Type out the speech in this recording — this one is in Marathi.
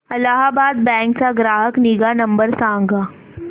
अलाहाबाद बँक चा ग्राहक निगा नंबर सांगा